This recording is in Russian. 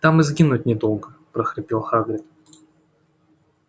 там и сгинуть недолго прохрипел хагрид